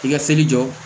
I ka seli jɔ